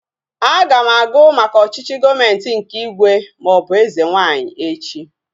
Aga m agụ maka ọchịchị gọọmenti nke ígwè maọbụ eze nwaanyị echi